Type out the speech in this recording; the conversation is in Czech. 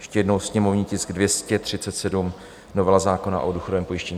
Ještě jednou, sněmovní tisk 237, novela zákona o důchodovém pojištění.